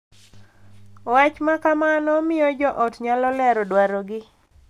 Wach ma kamano miyo jo ot nyalo lero dwarogi,